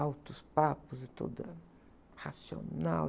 Altos papos e toda racional.